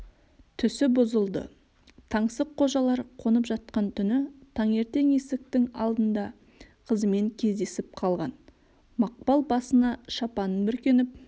түсі бұзылды таңсыққожалар қонып жатқан түні таңертең есіктің алдында қызымен кездесіп қалған мақпал басына шапанын бүркеніп